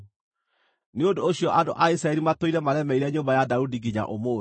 Nĩ ũndũ ũcio andũ a Isiraeli matũire maremeire nyũmba ya Daudi nginya ũmũthĩ.